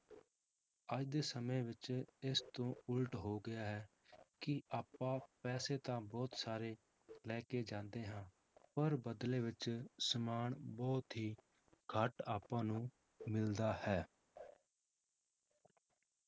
ਅੱਜ ਦੇ ਸਮੇਂ ਵਿੱਚ ਇਸ ਤੋਂ ਉੱਲਟ ਹੋ ਗਿਆ ਹੈ ਕਿ ਆਪਾਂ ਪੈਸੇ ਤਾਂ ਬਹੁਤ ਸਾਰੇ ਲੈ ਕੇ ਜਾਂਦੇ ਹਾਂ ਪਰ ਬਦਲੇ ਵਿੱਚ ਸਮਾਨ ਬਹੁਤ ਹੀ ਘੱਟ ਆਪਾਂ ਨੂੰ ਮਿਲਦਾ ਹੈ,